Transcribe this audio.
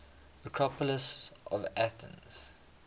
acropolis of athens